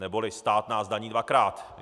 Neboli stát nás daní dvakrát.